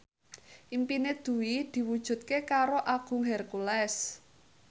impine Dwi diwujudke karo Agung Hercules